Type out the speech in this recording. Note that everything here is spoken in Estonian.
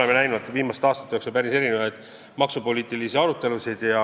Me oleme viimaste aastate jooksul näinud päris erinevaid maksupoliitilisi arutelusid.